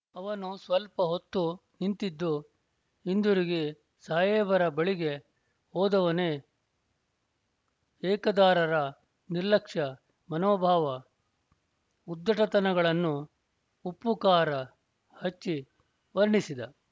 ಅವನು ಸ್ವಲ್ಪ ಹೊತ್ತು ನಿಂತಿದ್ದು ಹಿಂದಿರುಗಿ ಸಾಹೇಬರ ಬಳಿಗೆ ಹೋದವನೇ ಏಕದಾರರ ನಿರ್ಲಕ್ಷ್ಯ ಮನೋಭಾವ ಉದ್ಧಟತನಗಳನ್ನು ಉಪ್ಪುಕಾರ ಹಚ್ಚಿ ವರ್ಣಿಸಿದ